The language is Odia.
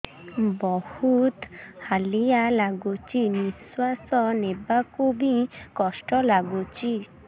ବହୁତ୍ ହାଲିଆ ଲାଗୁଚି ନିଃଶ୍ବାସ ନେବାକୁ ଵି କଷ୍ଟ ଲାଗୁଚି